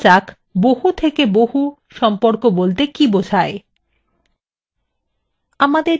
এর পরে যানা যাক বহুথেকেবহু সম্পর্ক বলতে কী বোঝায়